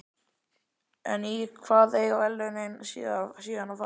En í hvað eiga verðlaunin síðan að fara?